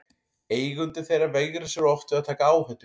Eigendur þeirra veigra sér oft við að taka áhættu.